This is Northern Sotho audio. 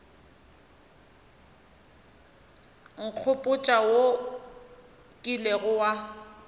nkgopotša wo o kilego wa